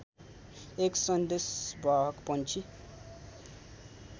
एक सन्देशवाहक पंक्षी